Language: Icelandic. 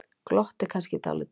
Glotti kannski dálítið.